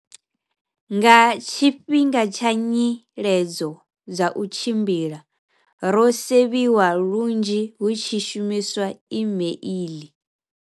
Nga tshifhinga tsha nyiledzo dza u tshimbila, ro sevhiwa lunzhi hu tshi shumiswa imeiḽi.